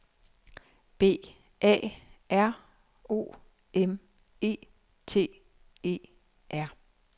B A R O M E T E R